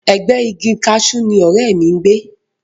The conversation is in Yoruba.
Ẹ̀gbẹ́ẹ igi kaṣú ni ọ̀rẹ́ mi ń gbé